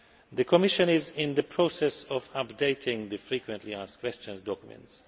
The Commission is in the process of updating the frequently asked questions documents.